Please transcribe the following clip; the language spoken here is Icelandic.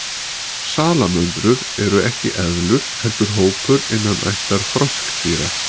Salamöndrur eru ekki eðlur heldur hópur innan ættar froskdýra.